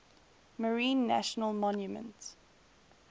marine national monument